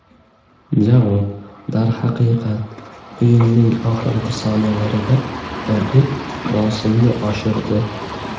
Javob: Darhaqiqat o‘yinning oxirgi soniyalarida raqib bosimni oshirdi.